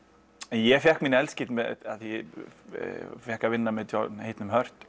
ég fékk fékk að vinna með John heitnum